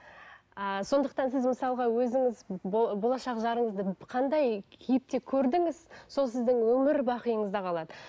ыыы сондықтан сіз мысалға өзіңіз болашақ жарыңызды қандай кейіпте көрдіңіз сол сіздің өмірбақиыңызда қалады